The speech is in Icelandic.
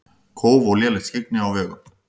Kóf og lélegt skyggni á vegum